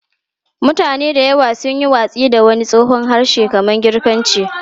Mutane da yawa sun yi watsi da wani tsohon harshe kamar Girkanci.